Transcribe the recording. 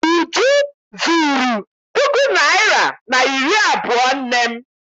Uju zuru puku naịra na iri abụọ nne m.